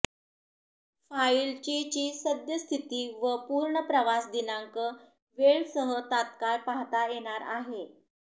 फाईलची ची सद्यस्थिती व पूर्ण प्रवास दिनांक वेळ सह तात्काळ पाहता येणार आहे